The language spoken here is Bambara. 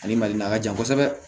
Ale mali la a ka jan kosɛbɛ